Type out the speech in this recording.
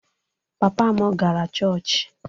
Papa m gara chọọchị